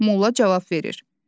Molla cavab verir: